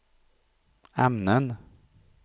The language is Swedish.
ämnen